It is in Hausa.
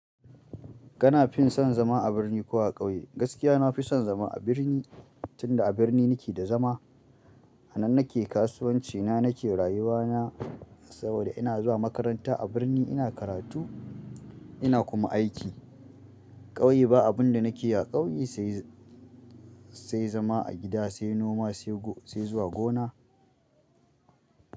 Kana fin son zama a birni ko a ƙauye? Gaskiya na fi son zama a birni, tunda a birni nike da zama. A nan nake kasuwanci na, nake rayuwa na saboda ina zuwa makaranta. A birni ina karatu ina kuma aiki. Ƙauye ba abun da nake yi a ƙauye sai, sai zama a gida, sai noma, sai zuwa gona.